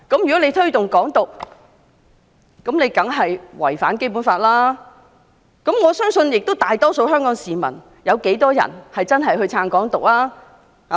"如推動"港獨"，當然違反《基本法》，但我相信大多數香港市民亦不支持"港獨"。